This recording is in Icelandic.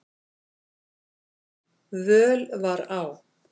völ var á.